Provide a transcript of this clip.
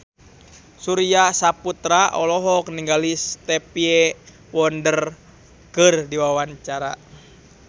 Surya Saputra olohok ningali Stevie Wonder keur diwawancara